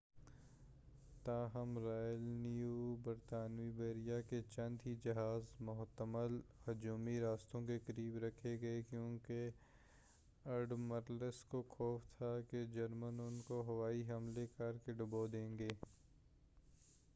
تاہم royal navy برطانوی بحریہ کے چند ہی جہاز محتمل ہجومی راستوں کے قریب رکھے گئے کیوں کہ اڈمرلس کو خوف تھا کہ جرمن ان کو ہوائی حملہ کرکے ڈبو دیں گے۔